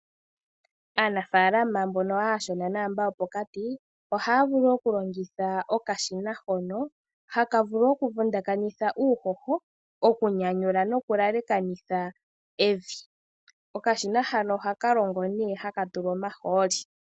Aanafalama mbono aashona naambono yopokati ohaya vulu okulongitha okashina hono haka vulu ouvundakanitha uuhoho, okunyanyula noku elekanitha evi. Okashina hano ohaka longo nee haka tulwa omahooli.